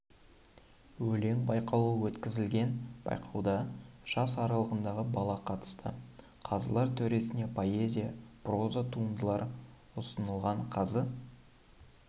өлең байқауы өткізілген байқауда жас аралығындағы бала қатысты қазылар төресіне поэзия проза туындалыр ұсынылған қазы